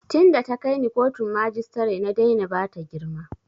Tin da ta kai ni kotun majistare na daina bata girma